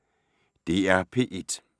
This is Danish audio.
DR P1